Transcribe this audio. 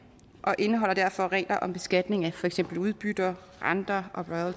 og den indeholder derfor regler om beskatning af for eksempel udbytter renter og